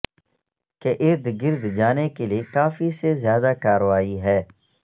کے ارد گرد جانے کے لئے کافی سے زیادہ کارروائی ہے